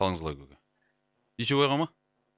қалыңыз қалай көке дүйсебай аға ма